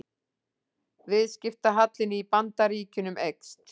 Viðskiptahallinn í Bandaríkjunum eykst